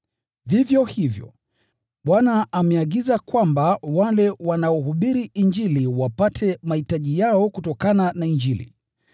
Vivyo hivyo, Bwana ameamuru kwamba wale wanaohubiri Injili wapate riziki yao kutokana na Injili.